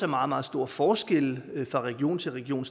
meget meget store forskelle fra region til region